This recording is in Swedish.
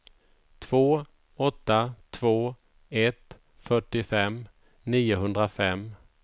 två åtta två ett fyrtiofem niohundrafem